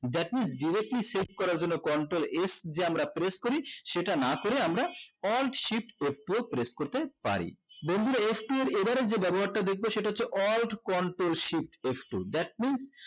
that means দেখান যেহেতু করা জন্য control f যে আমরা press করি সেটা না করে আমরা alt shift f two ও করতে পারি বন্ধুরা f two এর এবারে যে ব্যাবহার টা দেখবে সেটা হচ্ছে alt control shift f two that means